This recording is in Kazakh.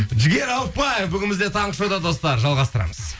жігер ауыпбаев бүгін бізде таңғы шоуда достар жалғастырамыз